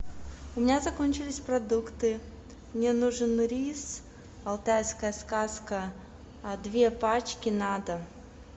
у меня закончились продукты мне нужен рис алтайская сказка две пачки надо